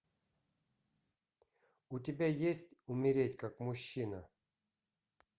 у тебя есть умереть как мужчина